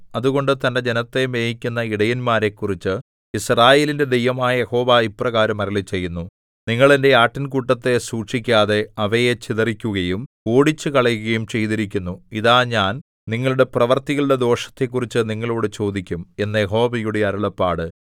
അതുകൊണ്ട് തന്റെ ജനത്തെ മേയിക്കുന്ന ഇടയന്മാരെക്കുറിച്ച് യിസ്രായേലിന്റെ ദൈവമായ യഹോവ ഇപ്രകാരം അരുളിച്ചെയ്യുന്നു നിങ്ങൾ എന്റെ ആട്ടിൻകൂട്ടത്തെ സൂക്ഷിക്കാതെ അവയെ ചിതറിക്കുകയും ഓടിച്ചുകളയുകയും ചെയ്തിരിക്കുന്നു ഇതാ ഞാൻ നിങ്ങളുടെ പ്രവൃത്തികളുടെ ദോഷത്തെക്കുറിച്ച് നിങ്ങളോടു ചോദിക്കും എന്ന് യഹോവയുടെ അരുളപ്പാട്